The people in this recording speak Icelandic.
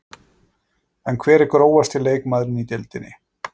En hver er grófasti leikmaðurinn í deildinni?